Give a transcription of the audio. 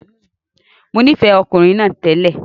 Mo nífẹ̀ẹ́ ọkùnrin náà télè.